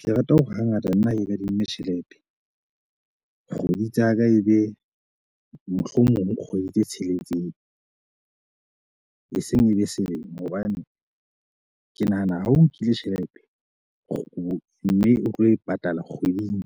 Ke rata ho hangata nna ha ke kadimme tjhelete kgwedi tsa ka e be mohlomong kgwedi tse tsheletseng, eseng e be selemo. Hobane ke nahana ha o nkile tjhelete kgo, mme o tlo e patala kgweding